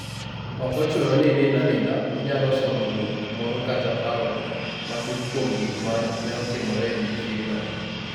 Ok ochuno ni inind aninda, inyalo somo buk moro kata paro matut kuom gik ma ne otimore e odiechieng'no.